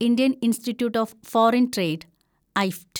Indian Institute of Foreign Trade (ഐഫ്റ്റ്)